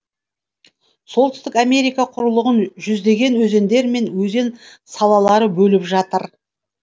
солтүстік америка құрлығын жүздеген өзендер мен өзен салалары бөліп жатыр